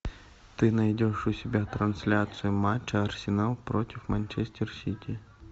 ты найдешь у себя трансляцию матча арсенал против манчестер сити